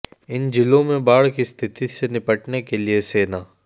इन जिलों में बाढ़ की स्थिति से निपटने के लिए सेना